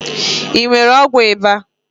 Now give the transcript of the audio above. I nwere ọgwụ ịba?